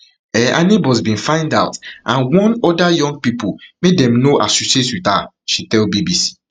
um her neighbours bin find out and warned oda young pipo make dem no associate wit her she tell bbc